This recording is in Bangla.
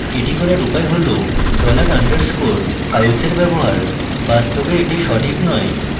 the করার উপায় হল dollar underscore files এর ব্যবহার বাস্তবে the সঠিক নয়